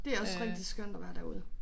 Det også rigtig skønt at være derude